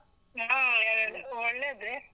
ಹಾ, ಒಳ್ಳೇದೇ.